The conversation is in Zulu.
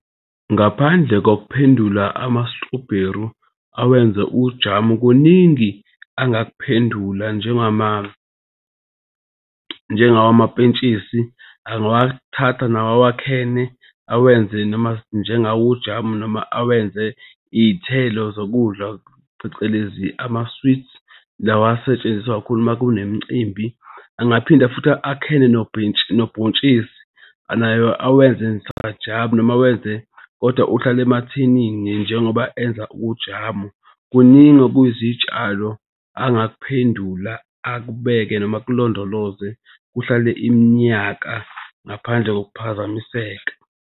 Ngaphandle kokuphendula amastrobheru awenze ujamu, kuningi angakuphendula njengawo amapentshisi angawathatha nawo awakhene awenze noma njengawo ujamu noma awenze iy'thelo zokudla phecelezi ama-sweets lawa asetshenziswa kakhulu uma kunemicimbi. Angaphinda futhi akhene nobhontshisi nayo awenze sajamu noma awenze kodwa uhlale emathinini njengoba enza ujamu. Kuningi okuzitshalo angakuphendula akubeke noma akulondoloze kuhlale iminyaka ngaphandle kokuphazamiseka.